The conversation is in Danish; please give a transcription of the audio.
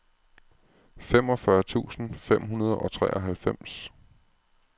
femogfyrre tusind fem hundrede og treoghalvfems